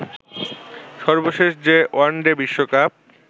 সর্বশেষ যে ওয়ানডে বিশ্বকাপ